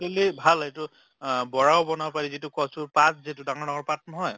tually ভাল এইটো অহ বৰাও বনাব পাৰি যিটো কচুৰ পাত যিটো ডাঙ্গৰ ডাঙ্গৰ পাত নহয়